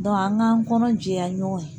an k'an kɔnɔ jɛya ɲɔgɔn